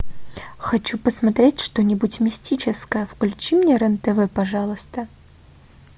хочу посмотреть что нибудь мистическое включи мне рен тв пожалуйста